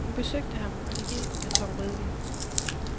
Hun besøgte ham, og de delte en karton rødvin.